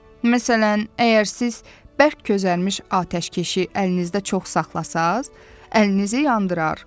Məsələn, əgər siz bərk közərmiş atəşkəşi əlinizdə çox saxlasanız, əlinizi yandırar.